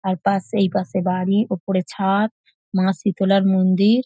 আর পাশে এই পাশে বাড়ি ওপরে ছা-আদ মা শীতলার মন্দির--